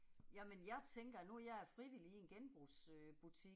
Jamen jeg tænker, nu er jeg frivillig i en genbrugs øh butik